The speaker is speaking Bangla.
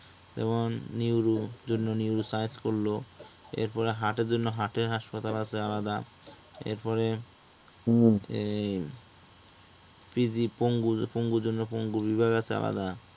যেমন neuro জন্য neuroscience করলো এরপর heart এর জন্য heart এর হাসপাতাল আছে আলাদা, হুম, এরপর এর PG পঙ্গুর জন্য পঙ্গু বিভাগ আছে আলাদা